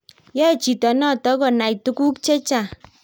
yoe chito noto konay tuguk chechang